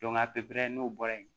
a pepere n'o bɔra yen